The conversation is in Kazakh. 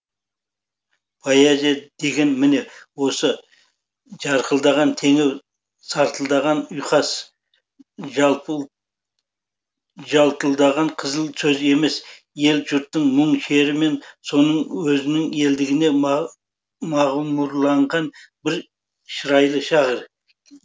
поэзия деген міне осы жарқылдаған теңеу сартылдаған ұйқас жалтұлдаған қызыл сөз емес ел жұртыңның мұң шері мен соның өзінің елдігіне мағұмұрланған бір шырайлы шағы